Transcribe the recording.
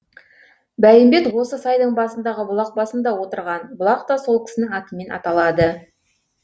бәйімбет осы сайдың басындағы бұлақ басында отырған бұлақ та сол кісінің атымен аталады